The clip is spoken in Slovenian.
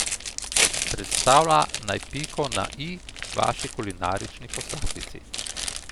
Predstavlja naj piko na i vaši kulinarični poslastici.